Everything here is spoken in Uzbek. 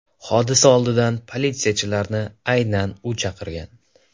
Hodisa oldidan politsiyachilarni aynan u chaqirgan.